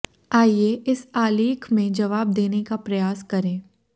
आइए इस आलेख में जवाब देने का प्रयास करें